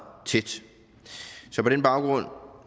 tæt så på den baggrund